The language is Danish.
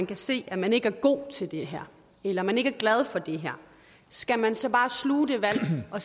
kan se at man ikke er god til det her eller man ikke er glad for det skal man så bare sluge det valg og